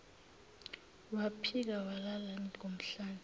waphika walala ngomhlane